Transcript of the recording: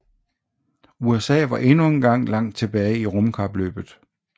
USA var endnu engang langt tilbage i rumkapløbet